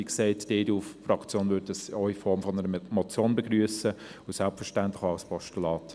Wie gesagt, die EDU-Fraktion würde diesen auch in Form einer Motion begrüssen, selbstverständlich auch als Postulat.